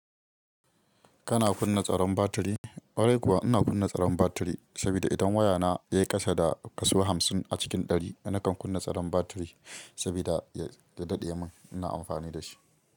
Kana kunna tsaron batiri? Kwarai kuwa ina kunna tsaron batiri saboda idan wayana ya kashe da kasuwan hamsin a cikin ɗari, ina kan kunna tsaron batiri saboda ya daɗe mun ina amfani da shi.